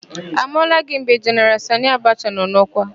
A mụọla gị mgbe Jeneral Sanị Abacha nọ n'ọkwa?